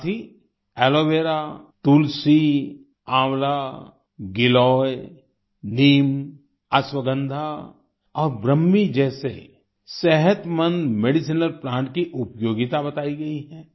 साथ ही aloe vera तुलसी आंवला गिलॉय नीम अश्वगंधा और ब्रह्मी जैसे सेहतमंद मेडिसिनल प्लांट की उपयोगिता बताई गई है